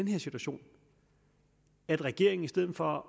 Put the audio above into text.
her situation at regeringen i stedet for at